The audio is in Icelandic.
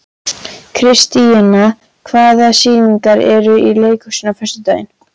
Kristíanna, hvaða sýningar eru í leikhúsinu á föstudaginn?